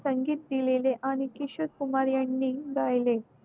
संगीत लिहिलेले आणि किशोर कुमार यांनी गायले